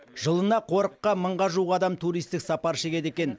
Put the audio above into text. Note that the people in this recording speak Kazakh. жылына қорыққа мыңға жуық адам туристік сапар шегеді екен